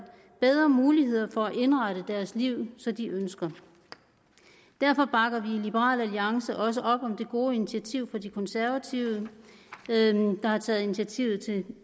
bedre muligheder for at indrette deres liv som de ønsker derfor bakker vi i liberal alliance også op om det gode initiativ fra de konservative der har taget initiativet til